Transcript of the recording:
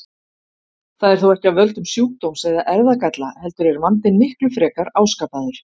Það er þó ekki af völdum sjúkdóms eða erfðagalla heldur er vandinn miklu frekar áskapaður.